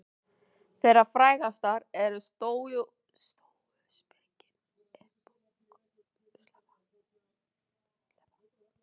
Þeirra frægastar eru stóuspekin, epikúrisminn og efahyggjan.